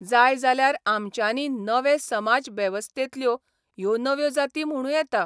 जाय जाल्यार आमच्यांनी नवे समाजवेबस्थेंतल्यो ह्यो नव्यो जाती म्हणूं येता.